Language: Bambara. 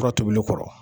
Fura tobili kɔrɔ